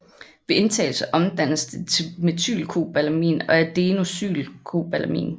Ved indtagelse omdannes det til methylcobalamin og adenosylcobalamin